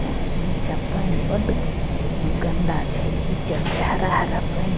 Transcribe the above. नीचे पऐन बड़ गन्दा छै कीचड़ छै हरा-हरा पऐन --